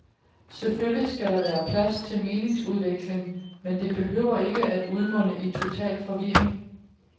Selvfølgelig skal der være plads til meningsudveksling, men det behøver ikke at udmunde i total forvirring.